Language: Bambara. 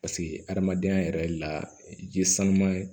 Paseke hadamadenya yɛrɛ la ji ye sanuya